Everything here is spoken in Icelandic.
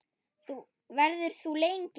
Verður þú lengi?